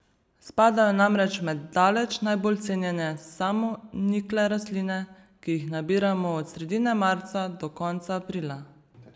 Spadajo namreč med daleč najbolj cenjene samonikle rastline, ki jih nabiramo od sredine marca do konca aprila.